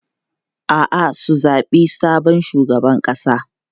A'a, sun zabi sabon shugaban ƙasa.